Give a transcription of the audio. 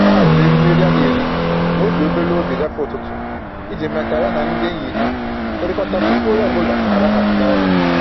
Ọ haziri erimeri a.na-eri ma o jiri obere oge gafee ụtụtụ, iji mee ka ya na ndị enyi ha hụrịkọta tupu onye ọbụla alaghachi n'ọrụ